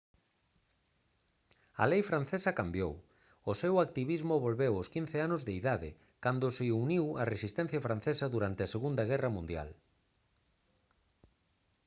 a lei francesa cambiou o seu activismo volveu aos 15 anos de idade cando se uniu á resistencia francesa durante a segunda guerra mundial